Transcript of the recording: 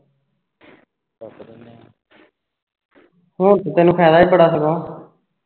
ਹੁਣ ਤੇ ਤੈਨੂੰ ਫਾਇਦਾ ਹੀ ਬੜਾ ਸਗੋਂ